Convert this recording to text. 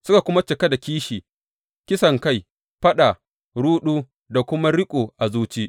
Suka kuma cika da kishi, kisankai, faɗa, ruɗu, da kuma riƙo a zuci.